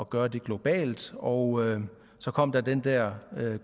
gøre det globalt og så kom den der